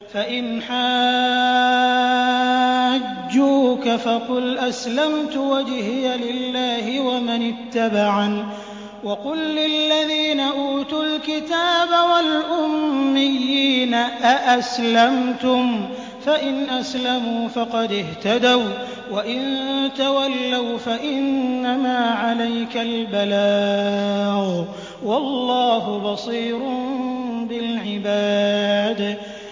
فَإِنْ حَاجُّوكَ فَقُلْ أَسْلَمْتُ وَجْهِيَ لِلَّهِ وَمَنِ اتَّبَعَنِ ۗ وَقُل لِّلَّذِينَ أُوتُوا الْكِتَابَ وَالْأُمِّيِّينَ أَأَسْلَمْتُمْ ۚ فَإِنْ أَسْلَمُوا فَقَدِ اهْتَدَوا ۖ وَّإِن تَوَلَّوْا فَإِنَّمَا عَلَيْكَ الْبَلَاغُ ۗ وَاللَّهُ بَصِيرٌ بِالْعِبَادِ